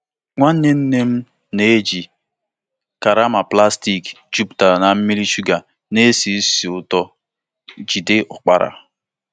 Nwanne nne m na-eji karama plastik jupụtara na mmiri shuga na-esi ísì ụtọ jide ụkpara.